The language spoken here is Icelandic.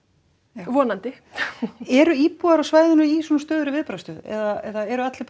vonandi eru íbúar á svæðinu í svona stöðugri viðbragðsstöðu eða eru allir bara